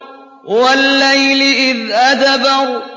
وَاللَّيْلِ إِذْ أَدْبَرَ